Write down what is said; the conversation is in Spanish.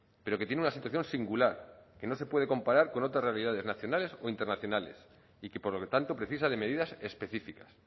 pero que tiene una situación singular que no se puede comparar con otras realidades nacionales o internacionales y que por lo tanto precisa de medidas específicas